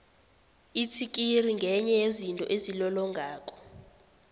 itsikiri ngenye yezinto ezilolongako